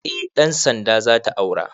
Eh ɗan sanda zata aura